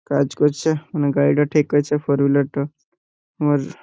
কাজ করছে মানে গাড়িটা ঠিক আছে ফোর হুইলার -টা আর--